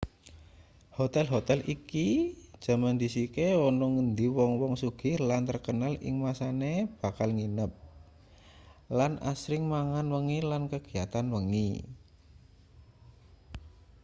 hotel-hotel iki jaman dhisike ana ngendi wong-wong sugih lan terkenal ing masane bakal nginep lan asring mangan wengi lan kegiatan wengi